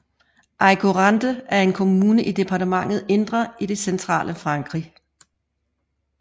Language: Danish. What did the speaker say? Aigurande er en kommune i departementet Indre i det centrale Frankrig